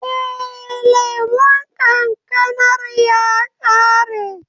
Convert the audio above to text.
Eh, lemon kankanar ya ƙare.